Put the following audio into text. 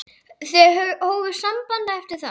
Þau hófu samband eftir það.